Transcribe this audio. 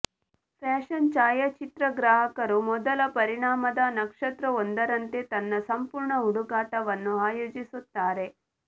fashion ಛಾಯಾಚಿತ್ರಗ್ರಾಹಕರು ಮೊದಲ ಪರಿಮಾಣದ ನಕ್ಷತ್ರವೊಂದರಂತೆ ತನ್ನ ಸಂಪೂರ್ಣ ಹುಡುಕಾಟವನ್ನು ಆಯೋಜಿಸುತ್ತಾರೆ